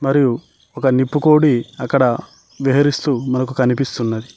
మరియు ఒక నిప్పు కోడి అక్కడ బేహరిస్తూ మనకి కనిపిస్తున్నది.